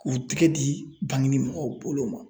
K'u tɛgɛ di banginin mɔgɔw bolo ma.